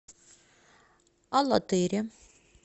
алатыре